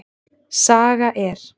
Saga er.